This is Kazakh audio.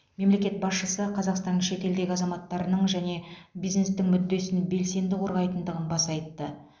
мемлекет басшысы қазақстан шетелдегі азаматтарының және бизнестің мүддесін белсенді қорғайтындығын баса айтты